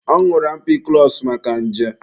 Ọ ñụrụ ampikụlọsụ maka nje.